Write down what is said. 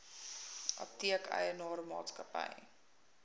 apteek eienaar maatskappy